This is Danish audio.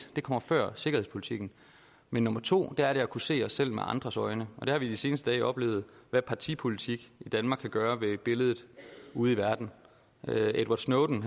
det kommer før sikkerhedspolitikken men nummer to er at kunne se os selv med andres øjne vi har de seneste dage oplevet hvad partipolitik i danmark kan gøre ved billedet ude i verden edward snowden